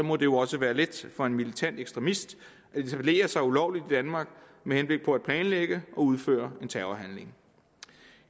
må det jo også være let for en militant ekstremist at etablere sig ulovligt i danmark med henblik på at planlægge og udføre en terrorhandling